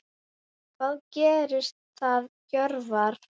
Hvað gerir það Hjörvar?